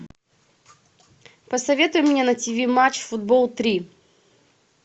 посоветуй мне на тв матч футбол три